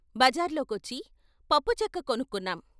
బజార్లోకొచ్చి పప్పుచెక్క కొను క్కున్నాం.